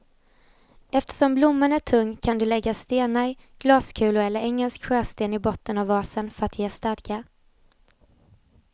Eftersom blomman är tung kan du lägga stenar, glaskulor eller engelsk sjösten i botten av vasen för att ge stadga.